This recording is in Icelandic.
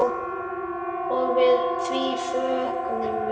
Og því fögnum við.